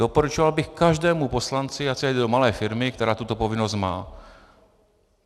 Doporučoval bych každému poslanci, ať si zajde do malé firmy, která tuto povinnost má.